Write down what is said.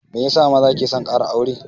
Meyasa maza ke son ƙara aure?